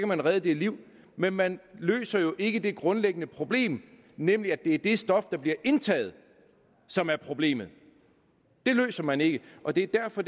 man redde de liv men man løser jo ikke det grundlæggende problem nemlig at det er det stof der bliver indtaget som er problemet det løser man ikke og det er derfor